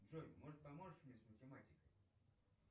джой может поможешь мне с математикой